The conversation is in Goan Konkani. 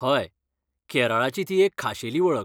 हय, केरळाची ती एक खाशेली वळख.